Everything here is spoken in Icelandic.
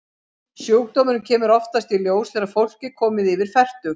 Sjúkdómurinn kemur oftast í ljós þegar fólk er komið yfir fertugt.